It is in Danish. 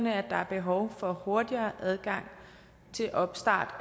at der er behov for hurtigere adgang til opstart